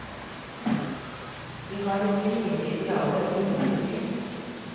De har ikke mine idealer om likestilling.